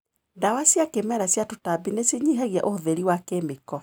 Ndawa cia kĩmerera cia tũtambi nĩ cinyihagia ũhũthĩri wa kĩmĩko.